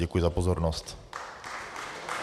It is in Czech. Děkuji za pozornost.